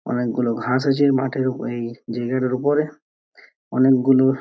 অনেকগুলো ঘাস আছে এই মাঠের ওপরে এই জায়গাটার ওপরে | অনেকগুলো --